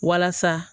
Walasa